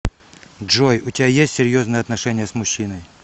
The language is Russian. джой у тебя есть серьезные отношения с мужчиной